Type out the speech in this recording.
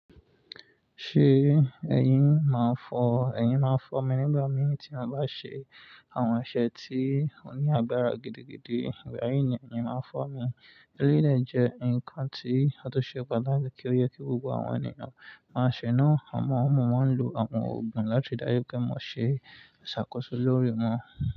Ṣé eyin? Ẹ̀yin máa ń fọ́ ẹyín. Máa fọ́ mii nígbà mìí tí a bá ṣe àwọn ẹsẹ̀ tí ó ní agbára gidigidi. Eyin yen nmiyen máa ń fọ́ mi, Eléèlé jẹ́ ǹkan tí ó tó ṣe padà kí ó yẹ kí gbogbo àwọn ènìyàn máa ṣe. Ǹ ó mọ ọmọ wọn lo àwọn òògùn láti ribdájupe mọ́ ṣe ṣàkóso lórí wọn.